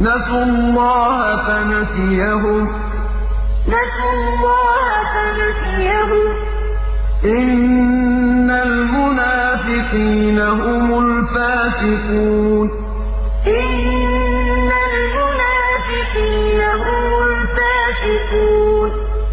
نَسُوا اللَّهَ فَنَسِيَهُمْ ۗ إِنَّ الْمُنَافِقِينَ هُمُ الْفَاسِقُونَ الْمُنَافِقُونَ وَالْمُنَافِقَاتُ بَعْضُهُم مِّن بَعْضٍ ۚ يَأْمُرُونَ بِالْمُنكَرِ وَيَنْهَوْنَ عَنِ الْمَعْرُوفِ وَيَقْبِضُونَ أَيْدِيَهُمْ ۚ نَسُوا اللَّهَ فَنَسِيَهُمْ ۗ إِنَّ الْمُنَافِقِينَ هُمُ الْفَاسِقُونَ